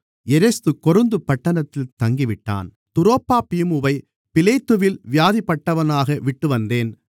எரஸ்து கொரிந்து பட்டணத்தில் தங்கிவிட்டான் துரோப்பீமுவை மிலேத்துவில் வியாதிப்பட்டவனாக விட்டுவந்தேன்